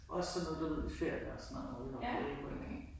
Også sådan noget du ved i ferier og sådan noget, hvor vi var på Ærø